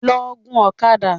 Lọ gun ọ̀kadà!